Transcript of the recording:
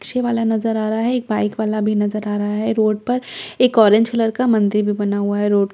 रिक्शेवाला नजर आ रहा है एक बाइक वाला भी नजर आ रहा है रोड पर एक ऑरेंज कलर का मंदिर भी बना हुआ है रोड के--